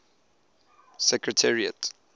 secretariat